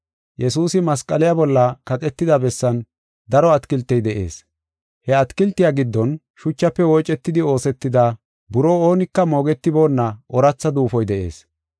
Yesuusi masqaliya bolla kaqetida bessan daro atakiltey de7ees. He atakiltiya giddon shuchafe woocetidi oosetida buroo oonika moogetiboonna ooratha duufoy de7ees.